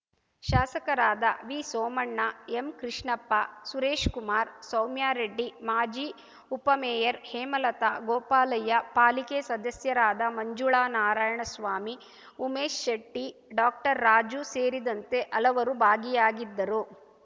ಶಾಸಕರಾದ ವಿಸೋಮಣ್ಣ ಎಂಕೃಷ್ಣಪ್ಪ ಸುರೇಶ್‌ ಕುಮಾರ್‌ ಸೌಮ್ಯಾರೆಡ್ಡಿ ಮಾಜಿ ಉಪಮೇಯರ್‌ ಹೇಮಲತಾ ಗೋಪಾಲಯ್ಯ ಪಾಲಿಕೆ ಸದಸ್ಯರಾದ ಮಂಜುಳ ನಾರಾಯಣಸ್ವಾಮಿ ಉಮೇಶ್‌ ಶೆಟ್ಟಿ ಡಾಕ್ಟರ್ರಾಜು ಸೇರಿದಂತೆ ಹಲವರು ಭಾಗಿಯಾಗಿದ್ದರು